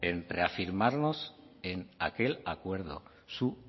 en reafirmamos en aquel acuerdo su